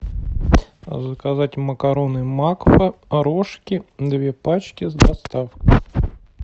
заказать макароны макфа рожки две пачки с доставкой